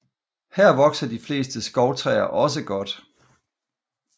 Her vokser de fleste skovtræer også godt